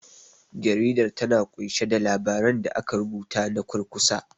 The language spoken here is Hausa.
Jaridar, ta na ƙunshe da labaran da aka rubuta na kurkusa.